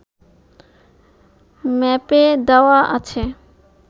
ম্যাপে দেওয়া আছে